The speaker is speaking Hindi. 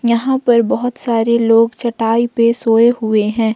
यहां पर बहुत सारे लोग चटाई पे सोए हुए हैं।